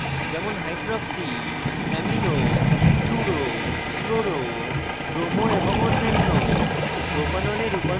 যেমন hydroxy amino fluro chloro bromo এবং অন্যান্য